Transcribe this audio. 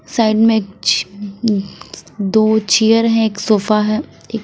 Side में च दो चेयर हैं एक सोफा है।